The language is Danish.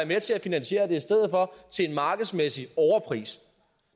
med til at finansiere det til en markedsmæssig overpris